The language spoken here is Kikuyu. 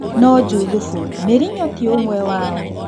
No-Juthubu, Mũrinyo ti-ũmwe wao.